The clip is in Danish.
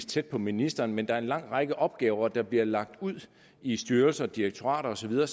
tæt på ministeren men der er en lang række opgaver der bliver lagt ud i styrelser og direktorater og så videre